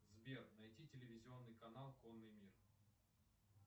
сбер найди телевизионный канал конный мир